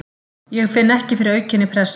Ég finn ekki fyrir aukinni pressu.